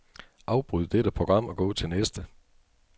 Afbryd dette program og gå til næste.